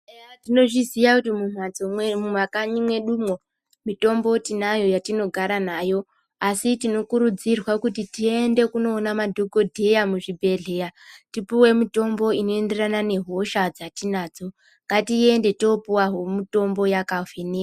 Eya tinozviziya kuti mumakanyi mwedu umo mitombo tinayo yatinogara nayo asi tinokurudzirwa kuti tiyende tinoona madhokodheya muzvibhedhleya tipuwe mitombo inoenderana nehosha dzatidzo ngatiende topuwa mitombo yakavhenekwa.